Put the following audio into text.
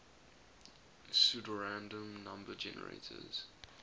pseudorandom number generators